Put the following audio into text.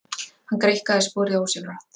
Hann greikkaði sporið ósjálfrátt.